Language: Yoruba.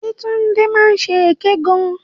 Yéwándé máa ń ṣe èké gan.